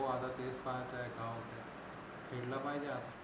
हो आता तेच पाहायचं आहे राव जिंकला पाहिजे आता